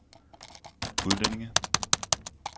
udlændinge